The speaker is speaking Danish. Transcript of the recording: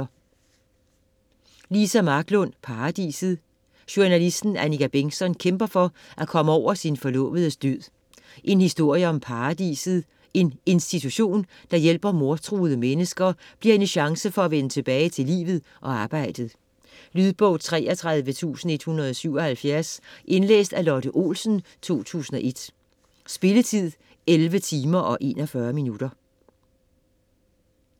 Marklund, Liza: Paradiset Journalisten Annika Bengtzon kæmper for at komme over sin forlovedes død. En historie om "Paradiset", en institution der hjælper mordtruede mennesker bliver hendes chance for at vende tilbage til livet og arbejdet. Lydbog 33177 Indlæst af Lotte Olsen, 2001. Spilletid: 11 timer, 41 minutter.